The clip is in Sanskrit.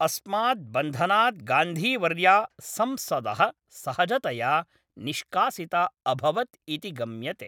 अस्मात् बन्धनात् गान्धीवर्या संसदः सहजतया निष्कासिता अभवत् इति गम्यते।